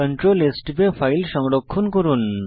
CtrlS টিপে file সংরক্ষণ করুন